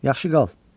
Yaxşı qal.